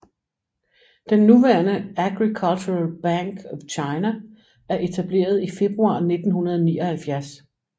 Den nuværende Agricultural Bank of China er etableret i februar 1979